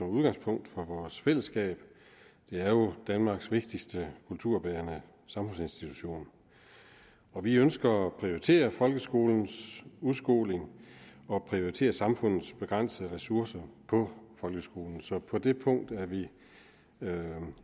udgangspunkt for vores fællesskab det er jo danmarks vigtigste kulturbærende samfundsinstitution vi ønsker at prioritere folkeskolens udskoling og prioritere samfundets begrænsede ressourcer på folkeskolen så på det punkt er vi